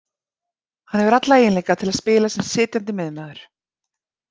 Hann hefur alla eiginleika til að spila sem sitjandi miðjumaður